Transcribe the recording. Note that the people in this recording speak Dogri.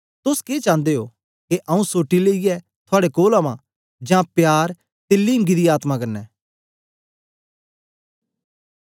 तोस के चांदे ओ के आऊँ सोटी लेईयै थुआड़े कोल अवां जां प्यार ते लीमंगी दी आत्मा कन्ने